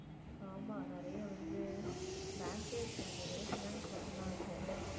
ஆமா நிறைய வந்து bank ஏ இருக்காது வெறும் finance மட்டும்தான் இருக்கும்